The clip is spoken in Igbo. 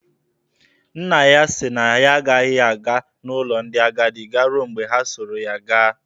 Nna ha sị na ya agaghị aga n'ụlọ ndị agadi garuo mgbe ha soro ya gaa.